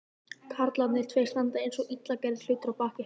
Karlarnir tveir standa einsog illa gerðir hlutir að baki hennar.